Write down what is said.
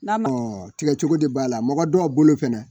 tigɛ cogo de b'a la mɔgɔ dɔw a bolo fɛnɛ